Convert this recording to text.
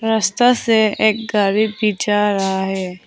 रास्ता से एक गाड़ी भी जा रहा है।